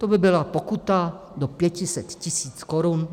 To by byla pokuta do 500 tisíc korun.